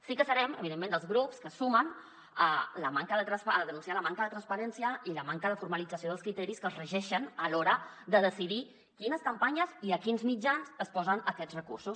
sí que serem evidentment dels grups que se sumen a denunciar la manca de transparència i la manca de formalització dels criteris que re· geixen a l’hora de decidir quines campanyes i a quins mitjans es posen aquests recursos